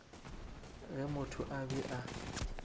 ge motho a be a